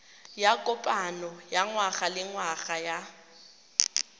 ya kopano ya ngwagalengwaga ya